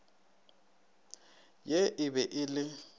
ye e be e le